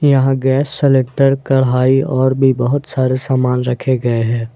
यहां gas cylinder कढ़ाई और भी बहोत सारे सामान रखे गए हैं।